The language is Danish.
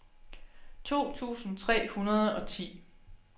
to tusind tre hundrede og ti